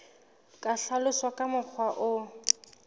ka hlaloswa ka mokgwa o